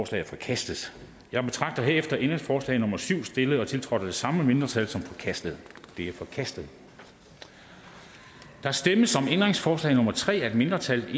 to er forkastet jeg betragter herefter ændringsforslag nummer syv stillet og tiltrådt af det samme mindretal som forkastet det er forkastet der stemmes om ændringsforslag nummer tre af et mindretal